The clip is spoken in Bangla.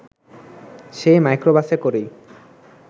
সেই মাইক্রোবাসে করেই